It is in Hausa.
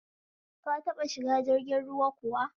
Ta taɓa shiga jirgin ruwa kuwa?